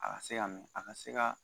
A ka se ka mɛ a ka se ka